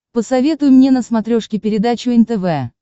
посоветуй мне на смотрешке передачу нтв